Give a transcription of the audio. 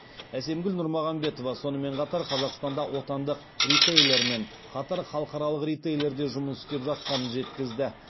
әсемгүл нұрмағамбетова сонымен қатар қазақстанда отандық ритейлермен қатар халықаралық ритейлер де жұмыс істеп жатқанын жеткізді